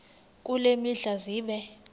kule mihla zibe